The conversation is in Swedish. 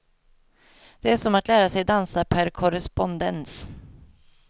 Det är som att lära sig dansa per korrespondens.